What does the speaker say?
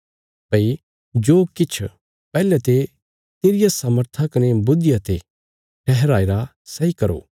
भई जो किछ पैहले ते तेरिया सामर्था कने बुद्धिया ते ठहराईरा सैई करो